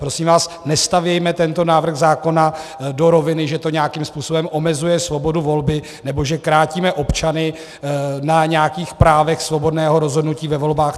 Prosím vás, nestavme tento návrh zákona do roviny, že to nějakým způsobem omezuje svobodu volby nebo že krátíme občany na nějakých právech svobodného rozhodnutí ve volbách.